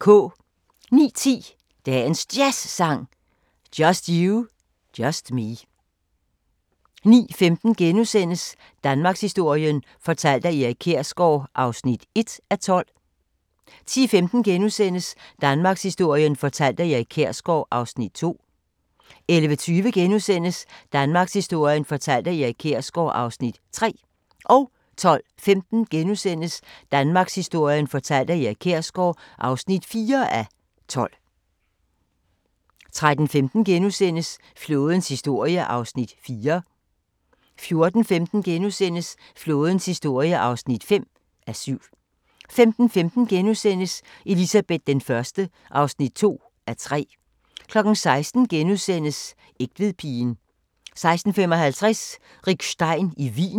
09:10: Dagens Jazzsang: Just You, Just Me 09:15: Danmarkshistorien fortalt af Erik Kjersgaard (1:12)* 10:15: Danmarkshistorien fortalt af Erik Kjersgaard (2:12)* 11:20: Danmarkshistorien fortalt af Erik Kjersgaard (3:12)* 12:15: Danmarkshistorien fortalt af Erik Kjersgaard (4:12)* 13:15: Flådens historie (4:7)* 14:15: Flådens historie (5:7)* 15:15: Elizabeth I (2:3)* 16:00: Egtvedpigen * 16:55: Rick Stein i Wien